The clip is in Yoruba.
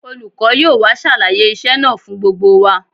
Olùkọ́ yóò wá ṣàlàyé iṣẹ́ náà fún gbogbo wa